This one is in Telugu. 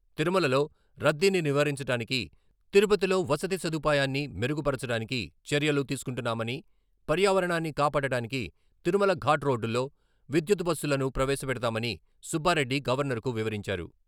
తిరుమలలో రద్దీని నివారించటానికి, తిరుపతిలో వసతి సదుపాయాన్ని మెరుగు పరచడానికి చర్యలు తీసుకుంటున్నామని, పర్యావరణాన్ని కాపాడటానికి తిరుమల ఘాట్ రోడ్డులో విద్యుత్ బస్సులను ప్రవేశపెడతామని సుబ్బారెడ్డి గవర్నరుకు వివరించారు.